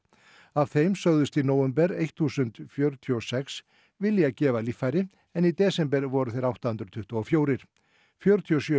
af þeim sögðust í nóvember þúsund fjörutíu og sex vilja gefa líffæri en í desember voru þeir átta hundruð tuttugu og fjögur fjörutíu og sjö